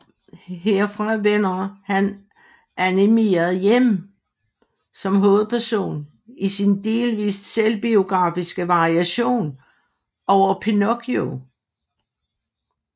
Herfra vender han animeret hjem som hovedpersonen i sin delvist selvbiografiske variation over Pinocchio